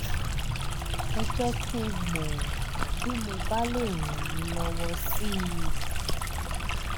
ẹ jẹ́ kí n mọ̀ bí mo bá lè ràn yín lọ́wọ́ sí i